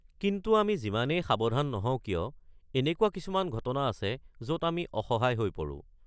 কিন্তু আমি যিমানেই সাৱধান নহওঁ কিয়, এনেকুৱা কিছুমান ঘটনা আছে য'ত আমি অসহায় হৈ পৰোঁ।